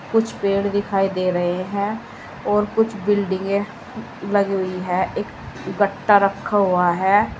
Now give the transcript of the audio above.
कुछ पेड़ दिखाई दे रहे है और कुछ बिल्डिंगे लग रही हैं एक बट्टा रखा हुआ है।